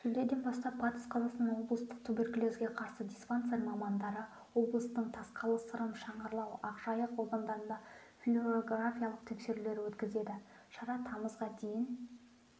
шілдеден бастап батыс қазақстан облыстық туберкулезге қарсы диспансер мамандары облыстың тасқалы сырым шыңғырлау ақжайық аудандарында флюорографиялық тексерулер өткізеді шара тамызға дейін